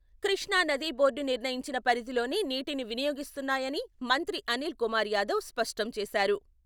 కృష్ణా నది బోర్డు నిర్ణయించిన పరిధిలోనే నీటిని వినియోగిస్తున్నాయని మంత్రి అనిల్ కుమార్ యాదవ్ స్పష్టం చేశారు.